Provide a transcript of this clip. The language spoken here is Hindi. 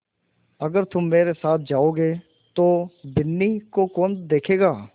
अगर तुम मेरे साथ जाओगे तो बिन्नी को कौन देखेगा